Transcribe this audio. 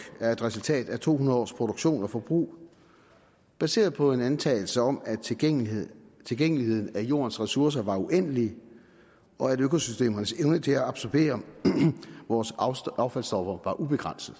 er et resultat af to hundrede års produktion og forbrug baseret på en antagelse om at tilgængeligheden tilgængeligheden af jordens ressourcer varer uendeligt og at økosystemernes evne til at absorbere vores affaldsstoffer er ubegrænset